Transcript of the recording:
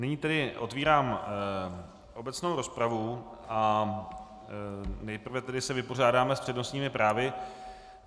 Nyní tedy otvírám obecnou rozpravu a nejprve se tedy vypořádáme s přednostními právy.